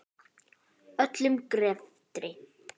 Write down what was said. Öllum greftri